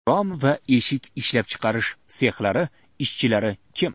Rom va eshik ishlab chiqarish sexlari ishchilari kim?